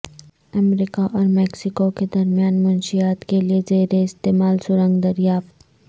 امریکہ اور میکسیکو کے درمیان منشیات کےلیے زیر استعمال سرنگ دریافت